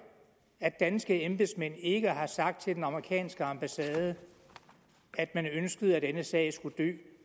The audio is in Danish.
at danske embedsmænd ikke har sagt til den amerikanske ambassade at man ønskede at denne sag skulle dø